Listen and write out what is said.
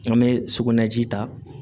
An bɛ sugunɛji ta